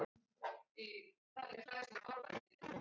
Svo hefur verið síðustu ár.